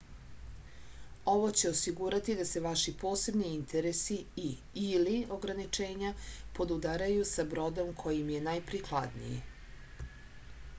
ово ће осигурати да се ваши посебни интереси и/или ограничења подударају са бродом који им је најприкладнији